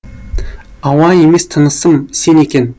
ауа емес тынысым сен екен